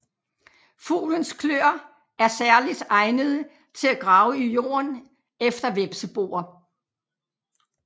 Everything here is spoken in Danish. Fuglens kløer er særligt egnede til at grave i jorden efter hvepseboer